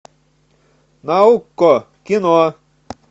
на окко кино